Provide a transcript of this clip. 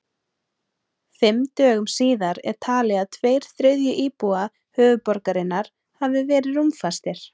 Fimm dögum síðar er talið að tveir þriðju íbúa höfuðborgarinnar hafi verið rúmfastir.